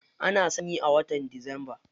Ana sanyi a watan disamba.